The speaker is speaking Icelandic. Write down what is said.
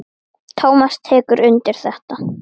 Tómas tekur undir þetta.